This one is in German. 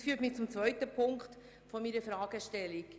Das führt mich zum zweiten Punkt meiner Fragestellung.